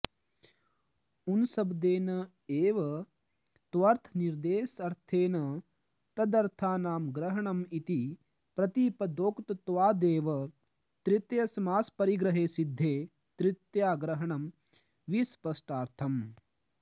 ऊनशब्देन एव त्वर्थनिर्देशर्थेन तदर्थानां ग्रहणम् इति प्रतिपदोक्तत्वादेव तृतीयासमासपरिग्रहे सिद्धे तृतीयाग्रहणं विस्पष्टार्थम्